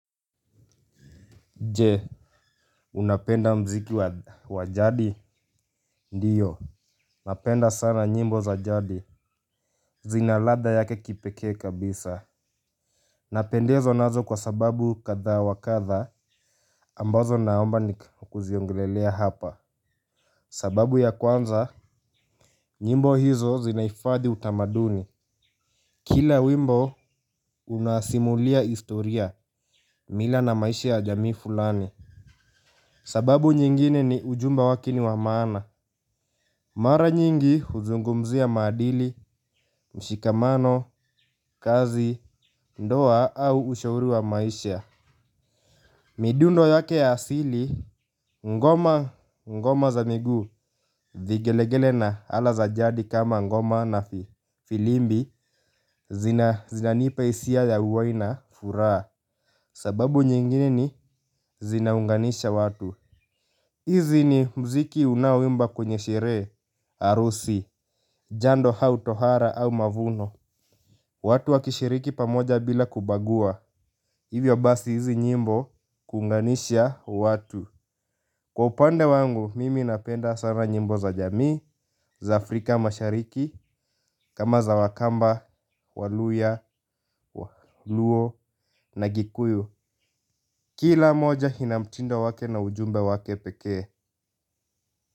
Nje unapenda mziki wa jadi ndiyo napenda sana nyimbo za jadi zina ladha yake kipekee kabisa napendezwa nazo kwa sababu kathaa wa katha ambazo naomba ni kuziongelelea hapa sababu ya kwanza nyimbo hizo zinaifadhi utamaduni kila wimbo unasimulia istoria mila na maisha ya jamii fulani sababu nyingine ni ujumba wake ni wa maana. Mara nyingi huzungumzia maadili, mshikamano, kazi, ndoa au ushauri wa maisha. Midundo yake ya asili, ngoma, ngoma za miguu, vigelegele na ala za jadi kama ngoma na filimbi zinanipa isia ya uwai na furaha. Sababu nyingine ni zinaunganisha watu. Hizi ni mziki unaoimba kwenye sherehe, arusi, jando hau tohara au mavuno. Watu wakishiriki pamoja bila kubagua, hivyo basi hizi nyimbo kuunganisha watu. Kwa upande wangu, mimi napenda sana nyimbo za jamii, za afrika mashariki, kama za wakamba, waluya, luo na gikuyu. Kila moja hina mtindo wake na ujumbe wake pekee.